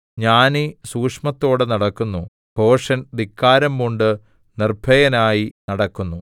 ജ്ഞാനി സൂക്ഷ്മത്തോടെ നടക്കുന്നു ഭോഷൻ ധിക്കാരംപൂണ്ട് നിർഭയനായി നടക്കുന്നു